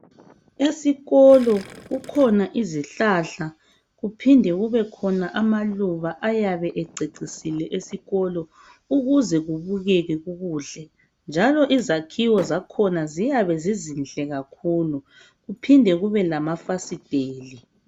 esikolo kukhona izihlahla kuphinde kubekhona amaluba ayabe ececisile esikolo ukuze kubukeke kukuhle njalo izakhiwo zakhona ziyabe zizinhle kakhulu kuphinde kube lamafasiteli